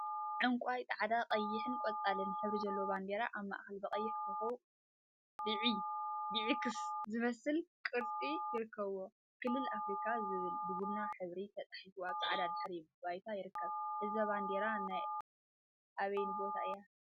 ዕንቋይ፣ ፃዕዳ፣ ቀይሕን ቆፃልነ ሕብሪ ዘለዋ ባንዴራ አብ ማእከላ ብቀይሕ ኮኮብን ብዒ ኤክስ ዝመስልን ቅርፂ ይርከቡዋ፡፡ ክልል አፍሪካ ዝብል ብቡና ሕብሪ ተፃሒፉ አብ ፃዕዳ ድሕረ ባይታ ይርከብ፡፡ እዛ ባንዴራ ናይ አበይ ቦታ እያ?